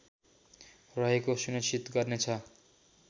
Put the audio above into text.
रहेको सुनिश्चित गर्नेछ